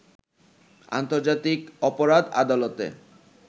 আন্তর্জাতিক অপরাধ আদালতে